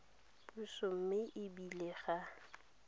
puso mme e bile ga